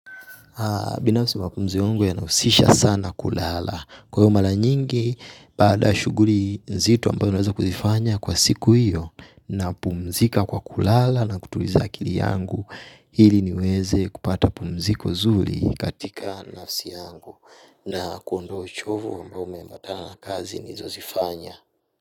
Binafsi mapumziko yangu yanahusisha sana kulala. Kwa hiyo mara nyingi, baada ya shughuli nzito ambayo naweza kuzifanya kwa siku hiyo napumzika kwa kulala na kutuliza akili yangu ili niweze kupata pumziko zuri katika nafsi yangu na kuondoa uchovu ambayo umeambatana na kazi nilizozifanya.